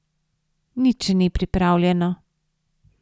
Nič še ni pripravljeno.